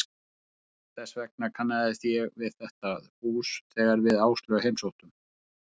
Þess vegna kannaðist ég við þetta hús þegar við Áslaug heimsóttum